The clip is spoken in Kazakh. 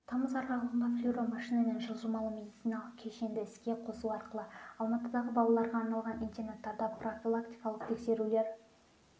тамыз аралығында флюромашина мен жылжымалы медициналық кешенді іске қосу арқылы алматыдағы балаларға арналған интернаттарда профилактикалық тексерулер